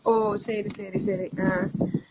ஓ சரி, சரி ஆஹ்.